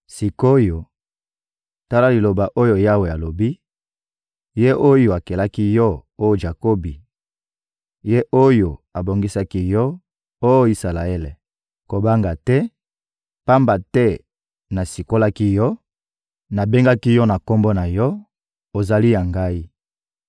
Sik’oyo, tala liloba oyo Yawe alobi, Ye oyo akelaki yo, oh Jakobi; Ye oyo abongisaki yo, oh Isalaele: «Kobanga te, pamba te nasikolaki yo, nabengaki yo na kombo na yo, ozali ya ngai.